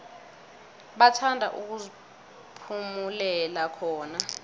bathanda ukuziphumulela khona